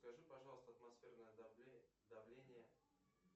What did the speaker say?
скажи пожалуйста атмосферное давление